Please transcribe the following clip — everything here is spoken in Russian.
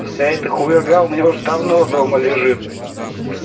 сайты хуерга у меня уже давно дома лежит